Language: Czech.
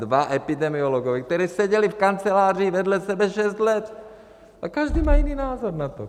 Dva epidemiologové, kteří seděli v kanceláři vedle sebe šest let, a každý má jiný názor na to.